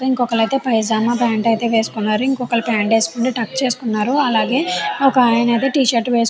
ఇంకొకలైతే pyjama pant అయితే వేసుకున్నారు ఇంకొకళ్ళు ప్యాంటు వేసుకొని టక్కు చేసుకున్నారు అలాగే ఒకాయన అయితే టీ-షర్ట్ వేసుకు --